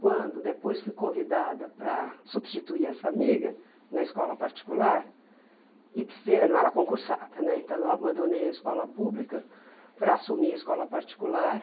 Quando depois fui convidada para substituir essa amiga na escola particular e precisei, eu não era concursada né, então eu abandonei a escola pública para assumir a escola particular.